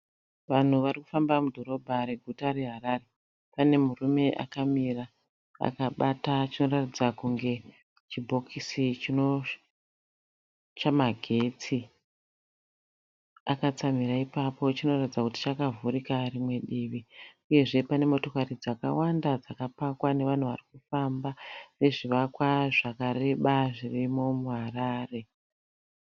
Vanhu varikufamba mudhorobha reguta reHarare. Pane murume akamira akabata chinoratidza kunge chibhokisi chamagetsi. Akatsamhira ipapo chinoratidza kuti chakavhurika rimwe divi. Uyezve pane motokari dzakawanda dzakapakwa nevanhu varikufamba. Nezvivakwa zvakareba zvirimo muHarare.